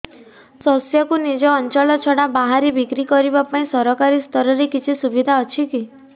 ଶସ୍ୟକୁ ନିଜ ଅଞ୍ଚଳ ଛଡା ବାହାରେ ବିକ୍ରି କରିବା ପାଇଁ ସରକାରୀ ସ୍ତରରେ କିଛି ସୁବିଧା ଅଛି କି